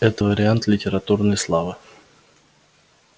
это вариант литературной славы